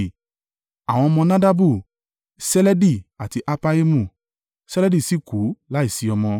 Àwọn ọmọ Nadabu Seledi àti Appaimu. Seledi sì kú láìsí ọmọ.